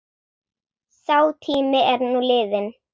Sá tími er nú liðinn.